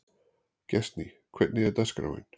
Gestný, hvernig er dagskráin?